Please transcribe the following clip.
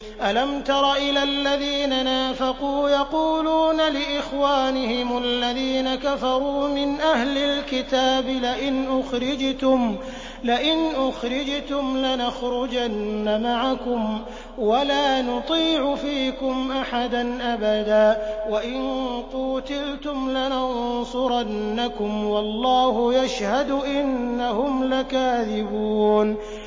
۞ أَلَمْ تَرَ إِلَى الَّذِينَ نَافَقُوا يَقُولُونَ لِإِخْوَانِهِمُ الَّذِينَ كَفَرُوا مِنْ أَهْلِ الْكِتَابِ لَئِنْ أُخْرِجْتُمْ لَنَخْرُجَنَّ مَعَكُمْ وَلَا نُطِيعُ فِيكُمْ أَحَدًا أَبَدًا وَإِن قُوتِلْتُمْ لَنَنصُرَنَّكُمْ وَاللَّهُ يَشْهَدُ إِنَّهُمْ لَكَاذِبُونَ